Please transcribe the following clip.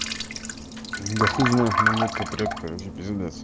да хуй знает меня водка прёт короче пиздец